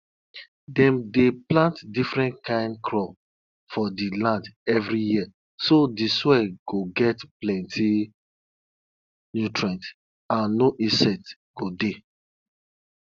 e get um some families wey get one ram wey dem no dey touch na only for yearly sacrifice them dey raise am for.